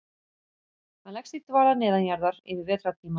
Hann leggst í dvala neðanjarðar yfir vetrartímann.